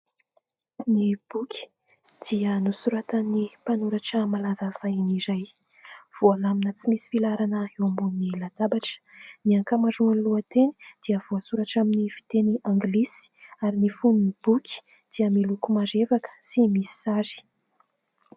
Ny boky dia nosoratany mpanoratra malaza fahiny iray, voalamina tsy misy filaharana eo ambonin'ny latabatra ; ny ankamaroan'ny lohateny dia voasoratra amin'ny fiteny anglisy ary ny fonon'ny boky dia miloko marevaka sy misy sary.